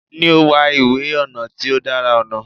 Ni o wa iwe ọnà ti o dara ọnà